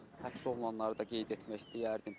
Həbs olunanları da qeyd etmək istəyərdim.